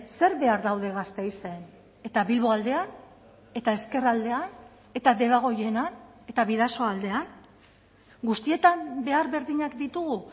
zer behar daude gasteizen eta bilbo aldean eta ezkerraldean eta debagoienan eta bidasoaldean guztietan behar berdinak ditugu